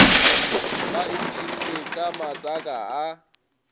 ba iphsinne ka matsaka a